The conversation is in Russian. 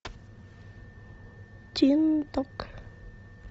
тин ток